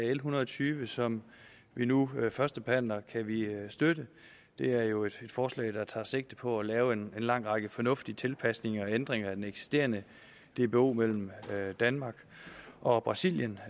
l en hundrede og tyve som vi nu førstebehandler kan vi støtte det er jo et forslag der tager sigte på at lave en lang række fornuftige tilpasninger og ændringer af den eksisterende dbo mellem danmark og brasilien